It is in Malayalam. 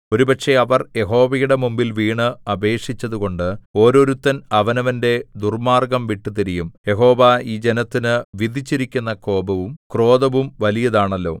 ഒരുപക്ഷേ അവർ യഹോവയുടെ മുമ്പിൽ വീണ് അപേക്ഷിച്ചുകൊണ്ട് ഓരോരുത്തൻ അവനവന്റെ ദുർമ്മാർഗ്ഗം വിട്ടുതിരിയും യഹോവ ഈ ജനത്തിനു വിധിച്ചിരിക്കുന്ന കോപവും ക്രോധവും വലിയതാണല്ലോ